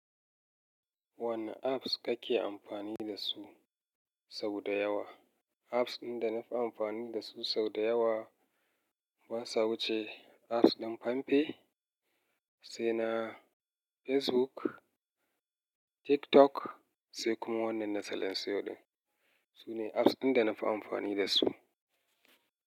Wane apps kake amfani dasu sau da yawa? Apps ɗin da nafi amfani dasu sau da yawa ba sa huce apps ɗin famfe, sai na Facebook, TikTok, sai kuma wannan na salansiyo ɗin. Su ne apps ɗin da nafi amfani dasu.